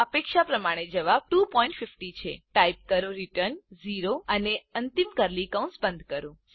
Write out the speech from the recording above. અપેક્ષા પ્રમાણે જવાબ 250 છે ટાઇપ કરો રિટર્ન 0 અને અંતિમ કર્લી કૌસ બંધ કરો